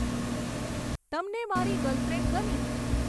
તમને મારી ગર્લફ્રેન્ડ ગમી